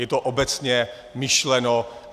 Je to obecně myšleno.